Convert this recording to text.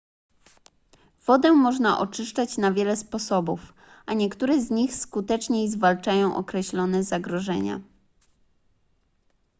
wodę można oczyszczać na wiele sposobów a niektóre z nich skuteczniej zwalczają określone zagrożenia